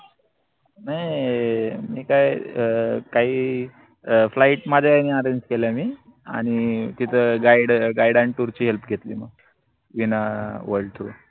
नई मी काय अं काई अं flight माझ्या यानी arrange केल्या मी आनि तिथ guideguide अन tour ची help घेतली म वीना worldtour